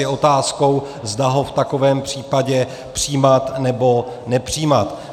Je otázkou, zda ho v takovém případě přijímat, nebo nepřijímat.